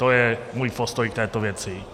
To je můj postoj k této věci.